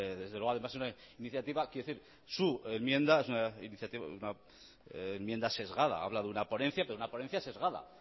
desde luego es además una iniciativa su enmienda es una enmienda sesgada habla de una ponencia pero de una ponencia sesgada